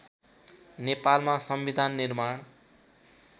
नेपालमा संविधान निर्माण